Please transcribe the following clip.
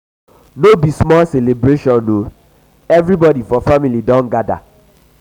no be small celebration o everybodi for family don gada.